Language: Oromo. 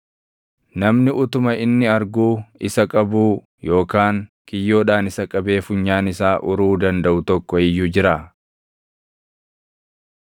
Namni utuma inni arguu isa qabuu yookaan kiyyoodhaan isa qabee funyaan isaa uruu dandaʼu tokko iyyuu jiraa?